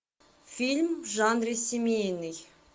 фильм в жанре семейный